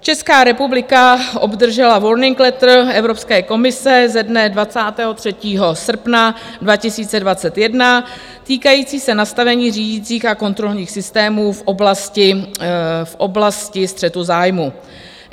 Česká republika obdržela warning letter Evropské komise ze dne 23. srpna 2021 týkající se nastavení řídicích a kontrolních systémů v oblasti střetu zájmů.